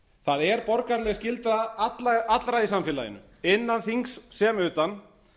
það er borgaraleg skylda allra í samfélaginu innan þings sem utan